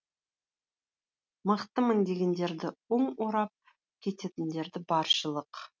мықтымын дегендерді он орап кететіндер баршылық